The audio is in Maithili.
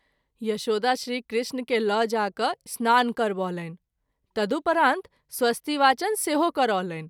यशोदा श्री कृष्ण के ल’ जा कय स्नान करबौलनि तदुपरांत स्वस्तिवाचन सेहो करौलनि।